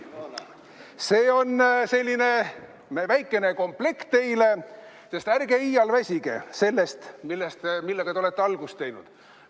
See on selline väikene komplekt teile, sest ärge iial väsige sellest, millega te olete algust teinud.